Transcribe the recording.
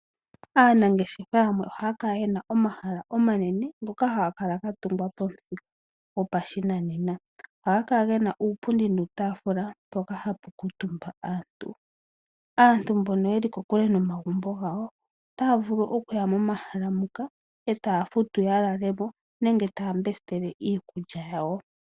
Aanangeshefa yamwe ohaya kala yena omahala omanene ngoka haga kala ga tungwa pamuthika gopashinanena. Ohaga kala gena uupundi nuutaafula mpoka hapu kuutumba aantu. Aantu mbono yeli kokule nomagumbo gawo otaya vulu okuya momahala moka etaya futu ya lale mo nenge ya lande iikulya yawo.